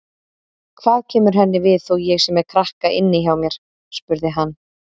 Hvað kemur henni við þó ég sé með krakka inni hjá mér, spurði hann.